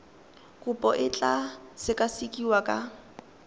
kopo e tla sekasekiwa ka